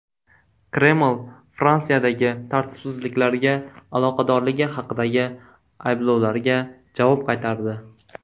Kreml Fransiyadagi tartibsizliklarga aloqadorligi haqidagi ayblovlarga javob qaytardi.